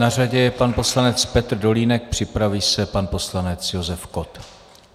Na řadě je pan poslanec Petr Dolínek, připraví se pan poslanec Josef Kott.